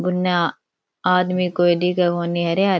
उनने आदमी कोई दिखे कोनी हरे हरे --